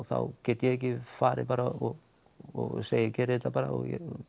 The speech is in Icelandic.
þá get ég ekki farið bara og og segi gerið þetta bara og